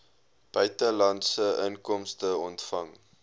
buitelandse inkomste ontvang